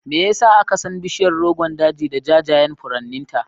Me ya sa aka san bishiyar Rogon Daji da jajayen furanninta?